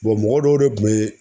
mɔgɔ dɔw de kun be